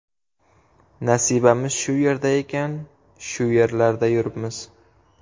Nasibamiz shu yerda ekan, shu yerlarda yuribmiz.